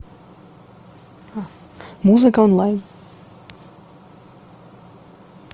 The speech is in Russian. музыка онлайн